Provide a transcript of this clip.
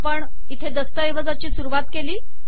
आपण इथे दस्तऐवजाची सुरुवात केली